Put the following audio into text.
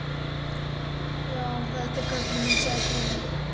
Já, þetta er kötturinn minn sagði konan.